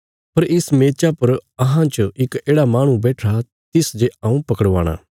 पर इस मेचा पर अहां च इक येढ़ा माहणु बैठिरा तिस जे हऊँ पकड़वाणा